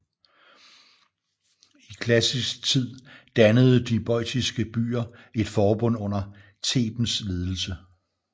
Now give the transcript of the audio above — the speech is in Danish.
I klassisk tid dannede de boiotiske byer et forbund under Thebens ledelse